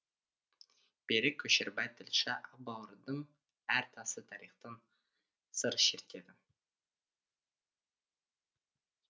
берік көшербай тілші ақбауырдың әр тасы тарихтан сыр шертеді